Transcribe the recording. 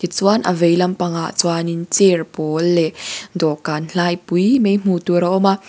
chuan a vei lampangah chuanin chair pawl leh dawhkan hlai pui mai hmuhtur a awm a.